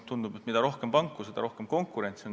Tundub, et mida rohkem panku, seda rohkem konkurentsi.